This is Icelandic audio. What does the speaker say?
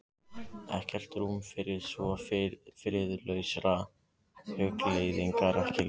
Ekkert rúm fyrir svo friðlausar hugleiðingar: ekki lengur.